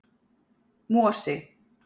Mosi